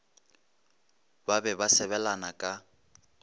ba be ba sebelana ka